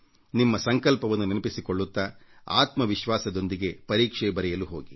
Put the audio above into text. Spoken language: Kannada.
ನಿಮ್ಮ ಸಂಕಲ್ಪವನ್ನು ನೆನಪಿಸಿಕೊಳ್ಳುತ್ತಾ ಆತ್ಮ ವಿಶ್ವಾಸದೊಂದಿಗೆ ಪರೀಕ್ಷೆ ಬರೆಯಲು ಸಿದ್ಧರಾಗಿ